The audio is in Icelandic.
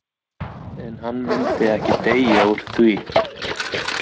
En hann myndi ekki deyja úr því.